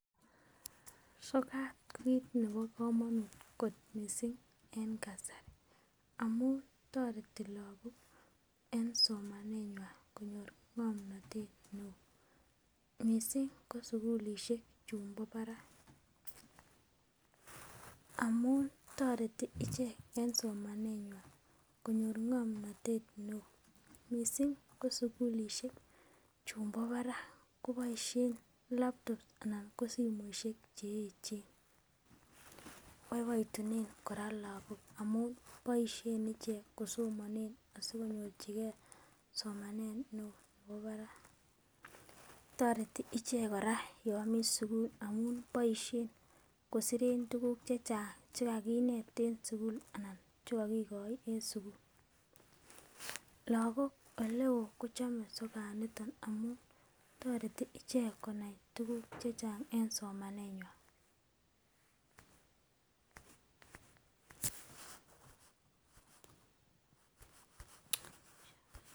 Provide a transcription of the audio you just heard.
Sokat kokit ne bo kamonut missing en kasari amun toreti lakok en somanenywan konyor ng'omnotet neo missing ko sikulisie chun bo parak koboisien laptop anan ko simoisiek che echen, boiboitunen kora lakok kosomonen asikonyorchike somanet neo nebo parak toreti ichek kora yomiten sugul amun boisien kosiren tuguk chechang chekakinet en sukul anan chekokikoi en sukul, lakok oleo kochome sokanito amun toreti ichek konai tuguk chechang en somanenywan.